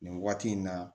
Nin waati in na